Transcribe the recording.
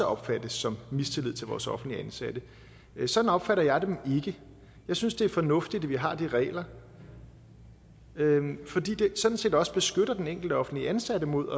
opfattes som mistillid til vores offentligt ansatte sådan opfatter jeg dem ikke jeg synes det er fornuftigt at vi har regler fordi de sådan set også beskytter den enkelte offentligt ansatte mod